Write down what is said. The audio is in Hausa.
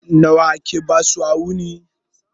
Nawa ake basu a wuni?